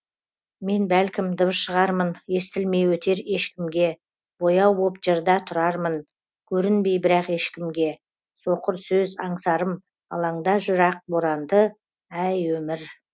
мен бәлкім дыбыс шығармын естілмей өтер ешкімге бояу боп жырда тұрармын көрінбей бірақ ешкімге соқыр сөз аңсарым алаңда жүр ақ боранды әй өмір